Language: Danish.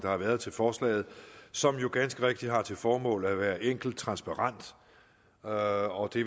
har været til forslaget som jo ganske rigtigt har til formål at være enkelt transparent og det